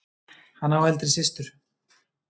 Hann á eldri systur.